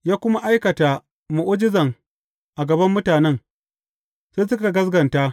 Ya kuma aikata mu’ujizan a gaban mutanen, sai suka gaskata.